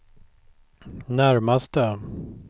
närmaste